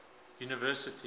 university